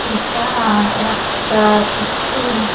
এটা আ একটা ইস্কুল ।